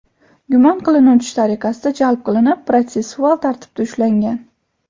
gumon qilinuvchi tariqasida jalb qilinib, protsessual tartibda ushlangan.